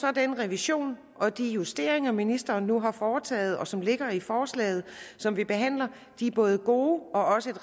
er den revision og de justeringer ministeren nu har foretaget og som ligger i forslaget som vi behandler både gode og også